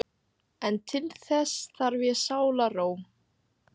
En til þess þarf ég sálarró!